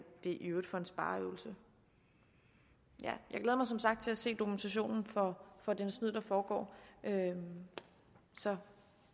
det i øvrigt for en spareøvelse jeg glæder mig som sagt til at se dokumentationen for det snyd der foregår så